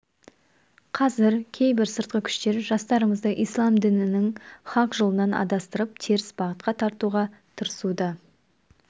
қазір кейбір сыртқы күштер жастарымызды ислам дінінің хақ жолынан адастырып теріс бағытқа тартуға тырысуда